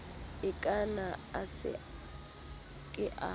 ikana a se ke a